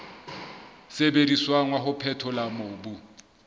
sebediswang wa ho phethola mobu